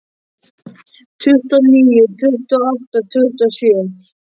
Tuttugu og níu, tuttugu og átta, tuttugu og sjö.